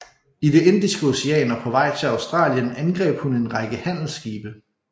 I det Indiske Ocean og på vej til Australien angreb hun en række handelsskibe